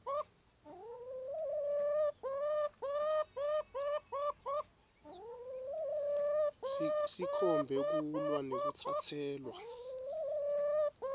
sikhombe kulwa nekutsatselwa